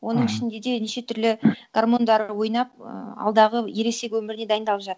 оның ішінде де неше түрлі гормондар ойнап ііі алдағы ересек өміріне дайындалып